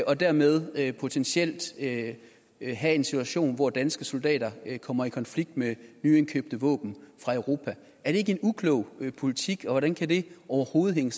og dermed potentielt have en have en situation hvor danske soldater kommer i konflikt med nyindkøbte våben fra europa er det ikke en uklog politik og hvordan kan det overhovedet hænge